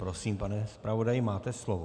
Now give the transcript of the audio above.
Prosím, pane zpravodaji, máte slovo.